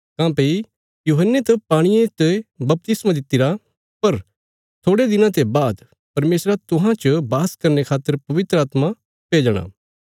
काँह्भई यूहन्ने त पाणिये च बपतिस्मा दित्तिरा पर थोड़यां दिना ते बाद परमेशरा तुहां च वास करने खातर पवित्र आत्मा भेजणा